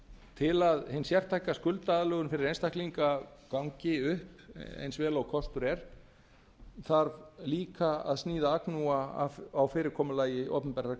til að hin sértæka skuldaaðlögun fyrir einstaklinga gangi upp eins vel og kostur er þarf líka að sníða agnúa á fyrirkomulagi opinberrar